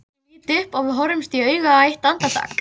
Mér líður eins og ég hafi verið dregin á tálar.